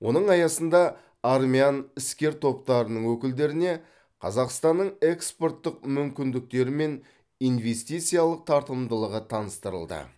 оның аясында армян іскер топтарының өкілдеріне қазақстанның экспорттық мүмкіндіктері мен инвестициялық тартымдылығы таныстырылды